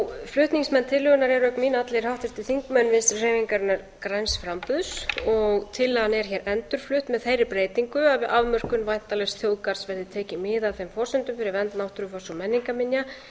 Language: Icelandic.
flutningsmenn tillögunnar eru auk mín allir háttvirtir þingmenn vinstri hreyfingarinnar græns framboðs og tillagan er hér endurflutt með þeirri breytingu að við afmörkun væntanlegs þjóðgarðs verði tekið mið af þeim forsendum fyrir vernd náttúrufars og menningarminja